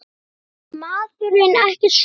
Vildi maðurinn ekki skora?